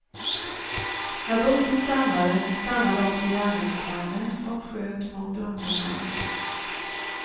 När bussen stannade, stannade också gärningsmannen och sköt mot ungdomarna.